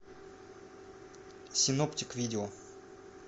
синоптик видео